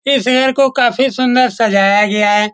इस को काफी सुंदर सजाया गया है।